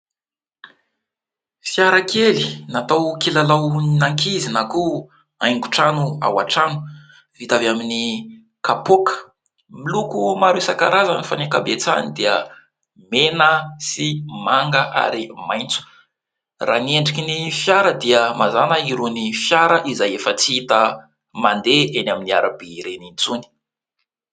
Fiarakely natao kilalaon'ankizy na koa aingon-trano ao an-trano, vita avy amin'ny kapoaka . Miloko maro isankarazany fa ny ankabetsahany dia : mena sy manga ary maintso . Raha ny endriky ny fiara dia mazàna irony fiara izay efa tsy hita mandeha eny amin'ny arabe ireny intsony .